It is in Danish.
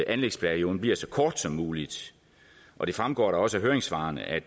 anlægsperioden bliver så kort som muligt og det fremgår da også af høringssvarene at